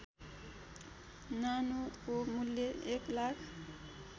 नानोको मूल्य १ लाख